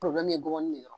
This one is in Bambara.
ye gɔbɔni de